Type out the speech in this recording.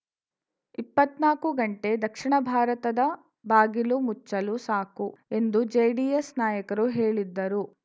ಇಪ್ಪತ್ನಾಕು ಗಂಟೆ ದಕ್ಷಿಣ ಭಾರತದ ಬಾಗಿಲು ಮುಚ್ಚಲು ಸಾಕು ಎಂದು ಜೆಡಿಎಸ್‌ ನಾಯಕರು ಹೇಳಿದ್ದರು